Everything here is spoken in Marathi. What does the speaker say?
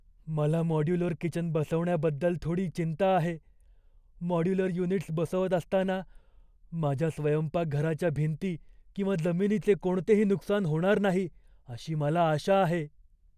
मला मॉड्युलर किचन बसवण्याबद्दल थोडी चिंता आहे. मॉड्युलर युनिट्स बसवत असताना माझ्या स्वयंपाकघराच्या भिंती किंवा जमिनीचे कोणतेही नुकसान होणार नाही अशी मला आशा आहे.